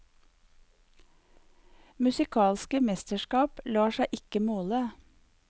Musikalske mesterskap lar seg ikke måle.